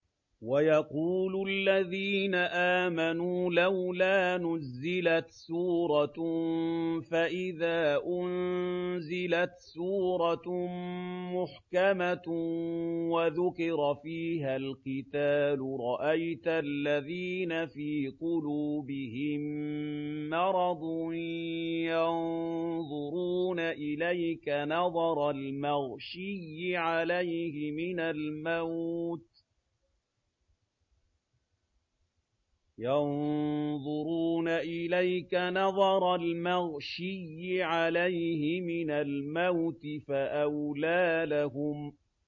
وَيَقُولُ الَّذِينَ آمَنُوا لَوْلَا نُزِّلَتْ سُورَةٌ ۖ فَإِذَا أُنزِلَتْ سُورَةٌ مُّحْكَمَةٌ وَذُكِرَ فِيهَا الْقِتَالُ ۙ رَأَيْتَ الَّذِينَ فِي قُلُوبِهِم مَّرَضٌ يَنظُرُونَ إِلَيْكَ نَظَرَ الْمَغْشِيِّ عَلَيْهِ مِنَ الْمَوْتِ ۖ فَأَوْلَىٰ لَهُمْ